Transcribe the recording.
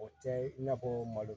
O tɛ i n'a fɔ malo